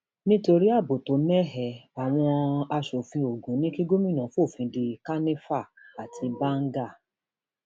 nítorí ààbò tó mẹhẹ àwọn asòfin ògún ní kí gomina fòfin dé kànìfà àti báńgá